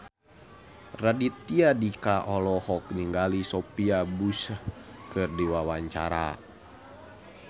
Raditya Dika olohok ningali Sophia Bush keur diwawancara